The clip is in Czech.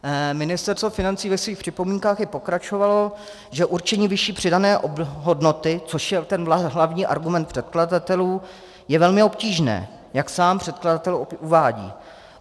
Ministerstvo financí ve svých připomínkách i pokračovalo, že určení vyšší přidané hodnoty, což je ten hlavní argument předkladatelů, je velmi obtížné, jak sám předkladatel uvádí.